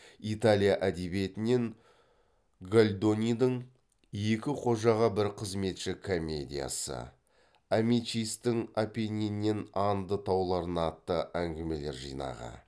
италия әдебиетінен гольдонидың екі қожаға бір қызметші комедиясы амичистің апенниннен анды тауларына атты әңгімелер жинағы